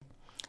DR1